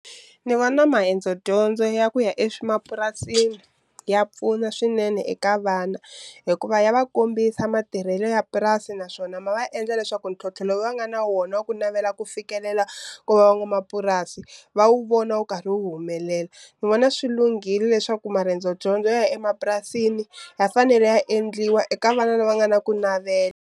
Ni vona maendzo dyondzo ya ku ya mapurasini ya pfuna swinene eka vana, hikuva ya va kombisa matirhelo ya purasi naswona ma va endla leswaku ntlhontlho lowu va nga na wona wa ku na navela ku fikelela ku van'wamapurasi va wu vona wu karhi wu humelela. Ni vona swi lunghile leswaku marendzo dyondzo ya emapurasini ya fanele ya endliwa eka vana lava nga na ku navela.